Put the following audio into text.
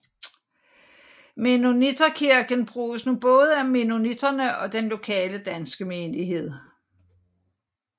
Mennonitterkirken bruges nu både af mennoniterne og den lokale danske menighed